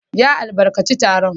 Ya albarkaci taron.